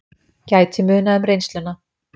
Gæti munað um reynsluna